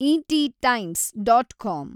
ET Times dot com